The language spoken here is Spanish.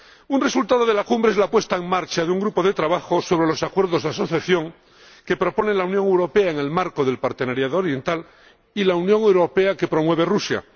Un resultado de la Cumbre es la puesta en marcha de un grupo de trabajo sobre los acuerdos de asociación que propone la Unión Europea en el marco de la Asocación Oriental y la unión aduanera que promueve Rusia.